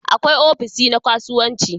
Akwai ofishi na kasuwanci